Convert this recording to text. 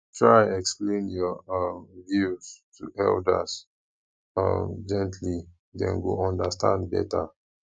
try explain your um views to elders um gently dem go understand better